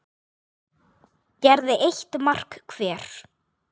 gerði eitt mark hver.